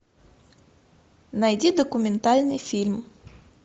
найди документальный фильм